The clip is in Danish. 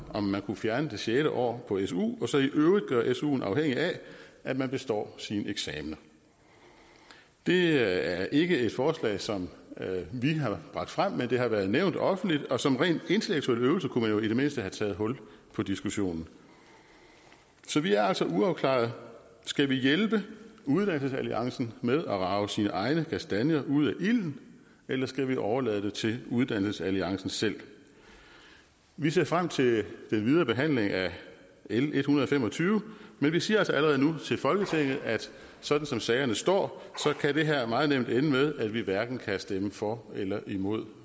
om vi kunne fjerne det sjette år på su og så i øvrigt gøre suen afhængig af at man består sine eksamener det er ikke et forslag som vi har bragt frem men det har været nævnt offentligt og som en ren intellektuel øvelse kunne man jo i det mindste have taget hul på diskussionen så vi er altså uafklaret skal vi hjælpe uddannelsesalliancen med at rage sine egne kastanjer ud af ilden eller skal vi overlade det til uddannelsesalliancen selv vi ser frem til den videre behandling af l en hundrede og fem og tyve men vi siger altså allerede nu til folketinget at sådan som sagerne står kan det her meget nemt ende med at vi hverken kan stemme for eller imod